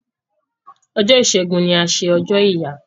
Ọjọ́ Ìṣégun ni a ṣe ọjọ́ ìyá.